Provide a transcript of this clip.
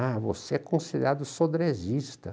Ah, você é considerado sodresista.